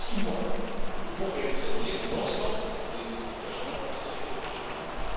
cas par cas. Dans six mois, nous devons réexaminer l'ensemble des engagements et nous assurer qu'ils